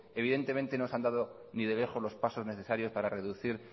evidentemente no se han dado ni de lejos los pasos necesarios para reducir